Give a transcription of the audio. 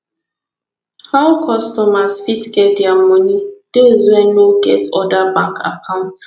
how customers fit get dia money those wey no get oda bank account